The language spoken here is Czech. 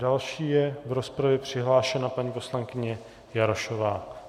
Další je v rozpravě přihlášena paní poslankyně Jarošová.